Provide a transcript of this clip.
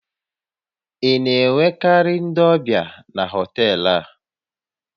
Ị na-enwekarị ndị ọbịa na họtel a?